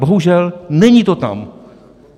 Bohužel, není to tam.